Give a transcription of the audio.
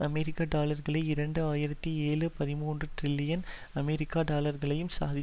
அமெரிக்க டாலர்களையும் இரண்டு ஆயிரத்தி ஏழு பதிமூன்று டிரில்லியன் அமெரிக்க டாலர்களையும் சாதித்